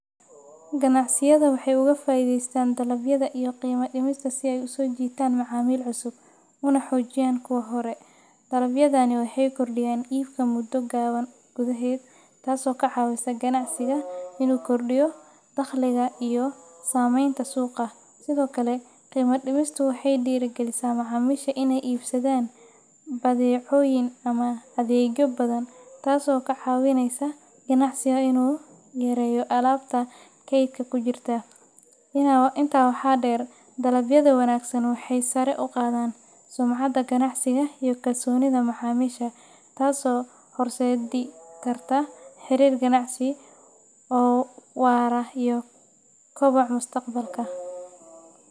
Ganacsiyada waxay uga faa’iideystaan dalabyada iyo qiimo dhimista si ay u soo jiitaan macaamiil cusub una xoojiyaan kuwa hore. Dalabyadani waxay kordhiyaan iibka muddo gaaban gudaheed, taasoo ka caawisa ganacsiga inuu kordhiyo dakhliga iyo saamaynta suuqa. Sidoo kale, qiimo dhimistu waxay dhiirrigelisaa macaamiisha inay iibsadaan badeecooyin ama adeegyo badan, taasoo ka caawinaysa ganacsiga inuu yareeyo alaabta kaydka ku jirta. Intaa waxaa dheer, dalabyada wanaagsan waxay sare u qaadaan sumcadda ganacsiga iyo kalsoonida macaamiisha, taasoo horseedi karta xiriir ganacsi oo waara iyo koboc mustaqbalka.